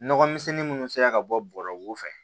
Nɔgɔmisɛnni minnu sera ka bɔ bɔrɔw fɛ